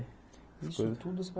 isso tudo você